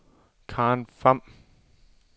Karen Pham